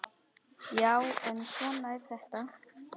Já, en svona er þetta.